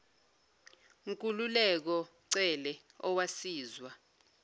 nkululeko cele owasizwa